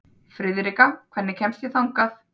Friðrikka, hvernig kemst ég þangað?